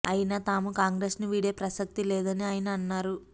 అయినా తాము కాంగ్రెస్ ను వీడే ప్రసక్తి లేదని ఆయన అన్నారు